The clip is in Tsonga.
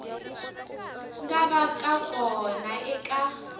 nga va ka kona eka